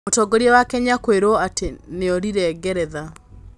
Mũtongoria wa Kenya kũirwo ati nĩorĩire Ngeretha